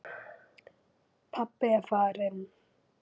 Pabbi er farinn.